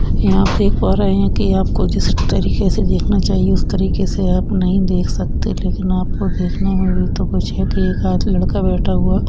यहाँ आप देख पा रहे है कि या आपको जिस तरीके से देखना चाहिए उस तरीके से आप नहीं देख सकते लेकिन आपको देखना होगा तो कुछ यक एक आधा लड़का बैठा हुआ --